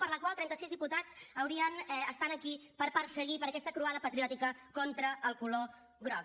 per la qual trenta sis diputats estan aquí per perseguir per aquesta croada patriòtica contra el color groc